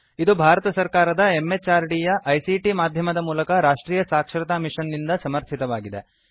ಇದು ಭಾರತ ಸರ್ಕಾರದ MHRDಯ ICTಮಾಧ್ಯಮದ ಮೂಲಕ ರಾಷ್ಟ್ರೀಯ ಸಾಕ್ಷರತಾ ಮಿಷನ್ ನಿಂದ ಸಮರ್ಥಿತವಾಗಿದೆ